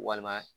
Walima